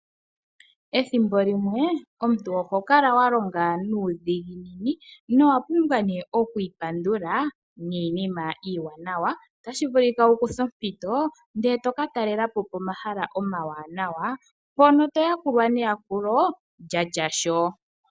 Ethimbo limwe omuntu oho kala wa longa nuudhiginini nowa pumbwa nee oku ipandula niinima iiwanawa. Otashi vulika wu kuthe ompito ndele e to ka talela po pomahala omawanawa, mpono to yakulwa neyakulo lya tya shoo.